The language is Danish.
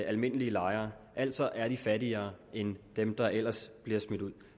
almindelige lejere altså er de fattigere end dem der ellers bliver smidt ud